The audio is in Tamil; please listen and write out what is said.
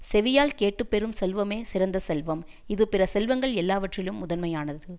செவியால் கேட்டுப் பெறும் செல்வமே சிறந்த செல்வம் இது பிற செல்வங்கள் எல்லாவற்றிலும் முதன்மையானது